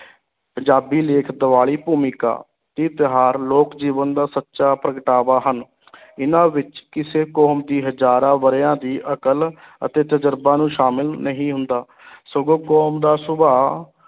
ਪੰਜਾਬੀ ਲੇਖ ਦੀਵਾਲੀ ਭੂਮਿਕਾ, ਇਹ ਤਿਉਹਾਰ ਲੋਕ ਜੀਵਨ ਦਾ ਸੱਚਾ ਪ੍ਰਗਟਾਵਾ ਹਨ ਇਹਨਾਂ ਵਿੱਚ ਕਿਸੇ ਕੌਮ ਦੀ ਹਜ਼ਾਰਾਂ ਵਰਿਆਂ ਦੀ ਅਕਲ ਅਤੇ ਤਜ਼ਰਬਾ ਨੂੰ ਸ਼ਾਮਲ ਨਹੀਂ ਹੁੰਦਾ ਸਗੋਂ ਕੌਮ ਦਾ ਸੁਭਾਅ